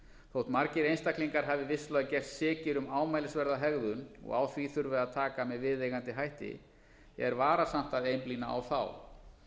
þótt margir einstaklingar hafi vissulega gerst sekir um ámælisverða hegðun og á því þurfi að taka með viðeigandi hætti er varasamt að einblína á þá